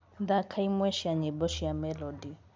thaka ĩmwe cĩa nyĩmbo cĩa melody